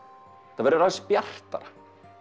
þetta verður aðeins bjartara